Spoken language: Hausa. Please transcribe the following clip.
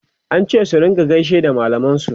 an ce su rinka gaishe da mallaman su